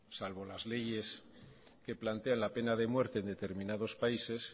salvo las leyes que plantean la pena de muerte en determinados países